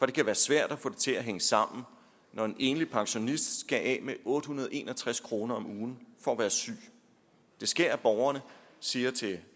det kan være svært at få det til at hænge sammen når en enlig pensionist skal af med otte hundrede og en og tres kroner om ugen for at være syg det sker at borgerne siger til